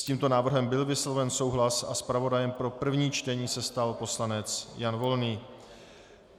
S tímto návrhem byl vysloven souhlas a zpravodajem pro první čtení se stal poslanec Jan Volný.